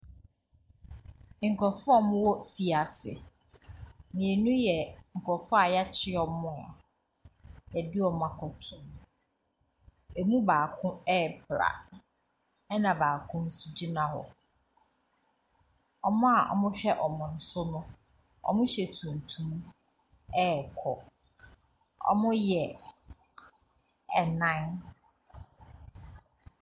Nkurɔfoɔ a wɔwɔ afiase. Mmienu yɛ nkurɔfoɔ a wɔakye wɔn a wɔde wɔn akɔto mu. Ɛmu baako repra, ɛnna baako nso gyina hɔ. Wɔn a wɔhwɛ wɔn so no, wɔhyɛ tuntum rekɔ. Wɔyɛ nnan.